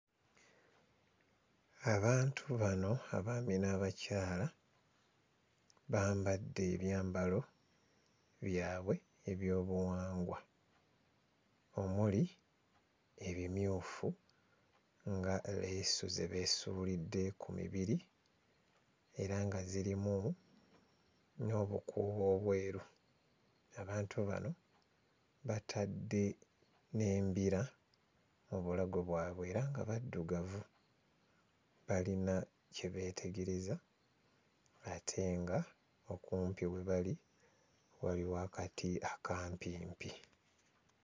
Abantu bano abaami n'abakyala bambadde ebyambalo byabwe eby'obuwangwa omuli ebimyufu nga leesu ze beesuulidde ku mibiri era nga zirimu n'obukuubo obweru. Abantu bano batadde n'embira mu bulago bwabwe era nga baddugavu; balina kye beetegereza ate ng'okumpi we bali waliwo akati akampimpi.